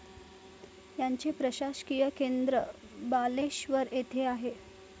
याचे प्रशासकीय केंद्र बालेश्वर येथे आहे.